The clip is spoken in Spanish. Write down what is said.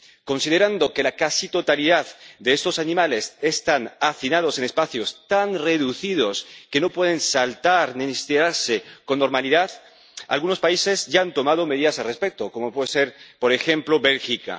Considerando que la casi totalidad de estos animales están hacinados en espacios tan reducidos que no pueden saltar ni estirarse con normalidad, algunos países ya han tomado medidas al respecto, como puede ser, por ejemplo, Bélgica.